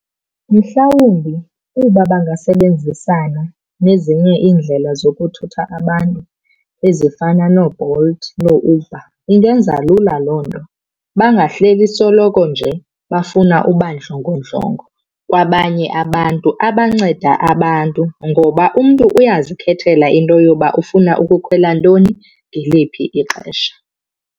Mhlawumbi uba bangasebenzisana nezinye iindlela zokuthutha abantu ezifana nooBolt nooUber, ingenza lula loo nto. Bangahleli soloko nje bafuna uba ndlongondlongo kwabanye abantu abanceda abantu ngoba umntu uyazikhethela into yoba ufuna ukukhwela ntoni ngeliphi ixesha.